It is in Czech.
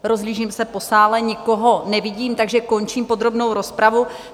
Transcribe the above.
Rozhlížím se po sále, nikoho nevidím, takže končím podrobnou rozpravu.